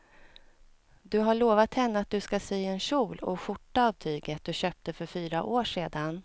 Du har lovat henne att du ska sy en kjol och skjorta av tyget du köpte för fyra år sedan.